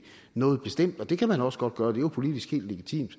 noget bestemt og det kan man også godt gøre det er jo politisk helt legitimt